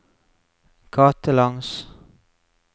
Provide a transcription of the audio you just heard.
gatelangs